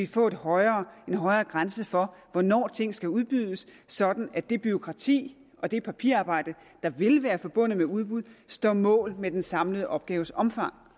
få en højere grænse for hvornår ting skal udbydes sådan at det bureaukrati og det papirarbejde der vil være forbundet med udbud står mål med den samlede opgaves omfang